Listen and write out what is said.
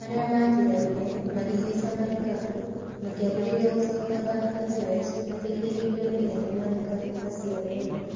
Arĩa maatigarire, makĩhaica marikabu makĩambĩrĩria gũcoka Bangladesh mateithĩrĩirio nĩ ene marikabu acio erĩ.